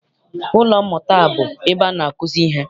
Ụlọ mmụta bụ ebe ana akuzi ihe.